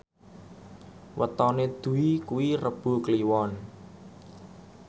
wetone Dwi kuwi Rebo Kliwon